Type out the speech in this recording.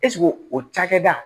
Ɛseke o cakɛda